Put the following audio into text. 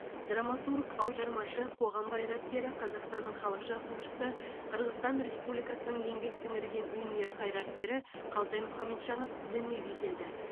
драматург аудармашы қоғам қайраткері қазақстанның халық жазушысы қырғызстан республикасының еңбек сіңірген өнер қайраткері қалтай мұхамеджанов дүниеге келді